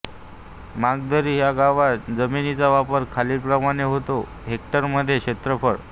मांगदरी ह्या गावात जमिनीचा वापर खालीलप्रमाणे होतो हेक्टरमध्ये क्षेत्रफळ